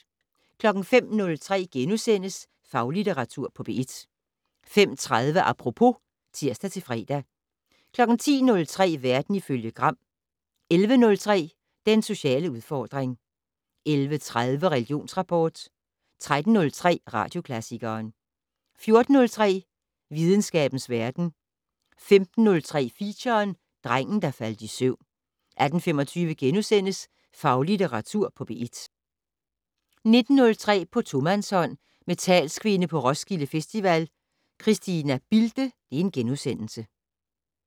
05:03: Faglitteratur på P1 * 05:30: Apropos *(tir-fre) 10:03: Verden ifølge Gram 11:03: Den sociale udfordring 11:30: Religionsrapport 13:03: Radioklassikeren 14:03: Videnskabens verden 15:03: Feature: Drengen, der faldt i søvn 18:25: Faglitteratur på P1 * 19:03: På tomandshånd med talskvinde på Roskilde Festival, Christina Bilde *